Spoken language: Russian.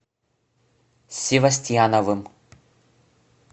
севостьяновым